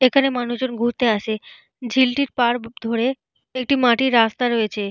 এখানে মানুষজন ঘুরতে আসে। ঝিলটির পার ধরে একটি মাটির রাস্তা রয়েছে।